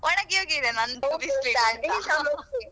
ಒಣಗಿ ಹೋಗಿದೆ .